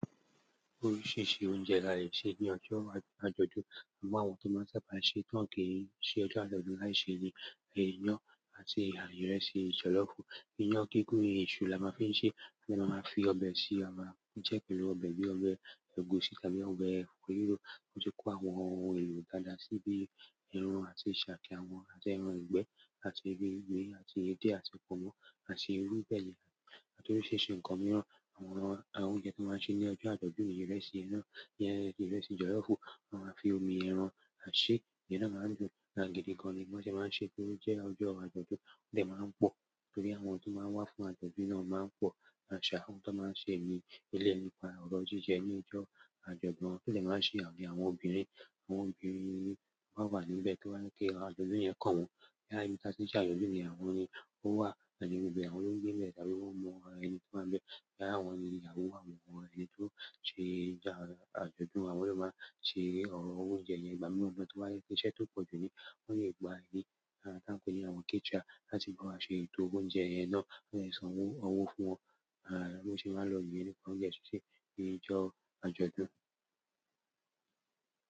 Oríṣìíríṣìí oúnjẹ la le ṣe ní ọjọ́ àjọ̀dún. Àmọ́ àwọn tó máa ń sábà ṣe tán kì í ṣe ọjọ́ àjọ̀dún láì ṣe ni ẹyin ẹyán àti ìrẹsì jọ̀lọ́ọ̀fù. Eyín ẹgúngún èṣù la máa fi ń ṣe, bí a bá máa fi ọbẹ̀ sí i, a máa ń jẹ́ pẹ̀lú ọbẹ̀ bí ọbẹ̀ ẹ̀gúsí tàbí ọbẹ̀ ẹ̀fọ́ ríró. Wọn ti kó àwọn ohun èlò dáadáa sí bíi ẹran àti ṣàkì àwọn àti ẹran ìgbẹ́ àti ewé gbígbẹ àti edé àti pọ̀nmọ́ àti irúgbẹ̀yẹ̀ àti oríṣìíríṣìí nǹkan mìíràn. Àwọn oúnjẹ tó máa ń ṣe ní ọjọ́ àjọ̀dún ìrẹsì, iyán, ìrẹsì jọ̀lọ́ọ̀fù, wọ́n máa fi omi ẹran a ṣeé, ìyẹn náà máa ń dùn. Gidi gan-an ni wọ́n sì máa ń ṣe, tó jẹ́ ọjọ́ àjọ̀dún, ó sì máa ń pọ̀, torí àwọn tí ó máa ń wá fún àjọ̀dún náà máa ń pọ̀ àṣà àwọn tó máa ń ṣe ní ilé ẹni pa àwọn ọdún jíjẹ ní ọjọ́ àjọ̀dún. Ó sì lè máa ṣe àwọn obìnrin, àwọn obìnrin wọ́n wà níbẹ̀ kí wọ́n lè kí àjọ̀dún yẹn kàn wọ́n. Kí á yíta síṣẹ́ àjọ̀dún ni àwọn ni ó wà, àti òbí àwọn ológun mẹ́ta tí wọ́n mọ ara ẹni tó máa ń bẹ́, kí àwọn ìyàwó àwọn mọ ara ẹni tó ṣe àjọ̀dún, àwọn náà máa ṣe ọ̀rọ̀ oúnjẹ yẹn gbà mí lọ́dọ̀ tó bá yé ṣe iṣẹ́ tó pọ̀jù ni wọ́n yóò gba ẹni, à tí à ń pe ní àwọn caterer láti máa ṣe ètò oúnjẹ yẹn náà, kí wọ́n lè san owó fún wọn. À mo sì máa ń lọ ilé ẹni kan yẹn ṣíṣe ni ọjọ́ àjọ̀dún.